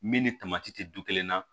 Min ni tamati tɛ du kelen na